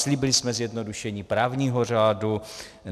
Slíbili jsme zjednodušení právního řádu.